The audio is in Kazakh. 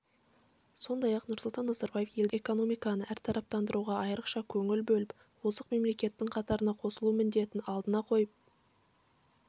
сондай-ақ нұрсұлтан назарбаев елдің экономиканы әртараптандыруға айрықша көңіл бөліп озық мемлекеттің қатарына қосылу міндетін алдына қойып